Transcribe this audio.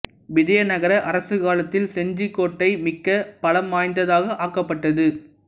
விஜய நகர அரசுக் காலத்தில் செஞ்சிக் கோட்டை மிக்க பலம் வாய்ந்ததாக ஆக்கப்பட்டது